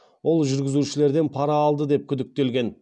ол жүргізушілерден пара алды деп күдіктелген